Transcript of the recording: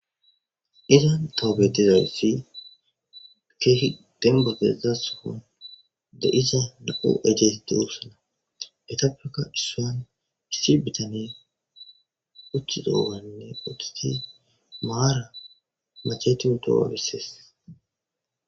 izan tobetizawssi keehi dembagessa sofon de isa na7u ejes duosana petafeka issuan issi bitani uththi doowanne ootati maara macheti hu doobaabisees